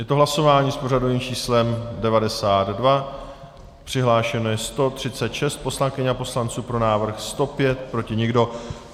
Je to hlasování s pořadovým číslem 92, přihlášeno je 136 poslankyň a poslanců, pro návrh 105, proti nikdo.